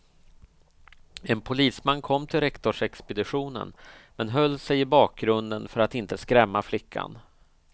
En polisman kom till rektorsexpeditionen, men höll sig i bakgrunden för att inte skrämma flickan.